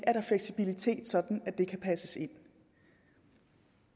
er fleksibilitet sådan at det kan passes ind